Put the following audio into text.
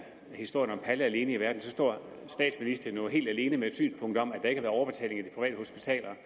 historien om palle alene i verden står statsministeren jo helt alene med et synspunkt om at der ikke har været overbetaling af de private hospitaler